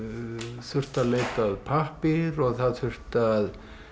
þurfti að leita að pappír og það þurfti að